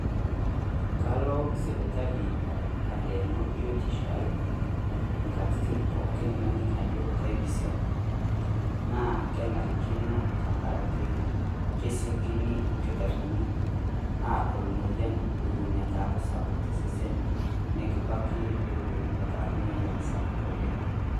Kalo sipitali alioyo biotisho aii enkatitin pookin naning' ajo kabisiong' naa kenarikino amu kesiokino ilkitarrini Aadol emoyian Eton eitu neaku sapuk to seen , nekibaki ewon eitu eaku emoyian sapuk oleng'.